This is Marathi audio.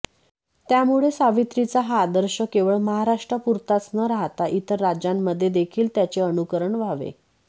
त्यामुळे सावित्रीचा हा आदर्श केवळ महाराष्ट्रापुरताच न राहता इतर राज्यांमध्ये देखील त्याचे अनुकरण व्हावे